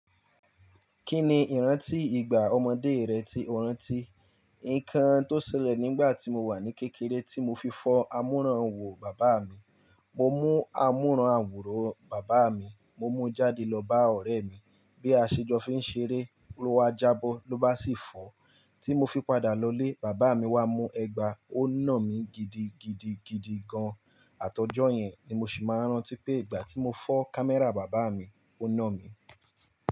Kí ni ìrántí ìgbà ọmọdé rẹ tí o rántí? Nǹkan tó ṣẹlẹ̀ nígbà tí mo wà ní kékeré tí mo fi fọ́ àmúranwò bàbá mi. Mo mú àmúranwò bàbá mi, mo mú jáde lọ bá ọ̀rẹ́ mi bí aṣejọ́fi ń ṣeré, lo wa jábọ́ ló bá sì fọ́. Tí mo fi padà lọlé, bàbá mi wá mú ẹgba, ó nà mí gidigidigidi gan. Àti ọjọ́ yẹn ni mo sì máa ń rántí pé ìgbà tí mo fọ́ kámẹ́rà bàbá mi, ó nà mí.